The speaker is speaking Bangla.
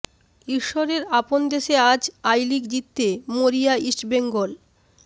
ঈশ্বরের আপন দেশে আজ আই লিগ জিততে মরিয়া ইস্টবেঙ্গল